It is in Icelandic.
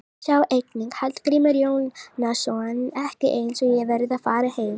Sjá einnig: Hallgrímur Jónasson: Ekki eins og ég verði að fara heim